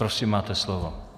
Prosím máte slovo.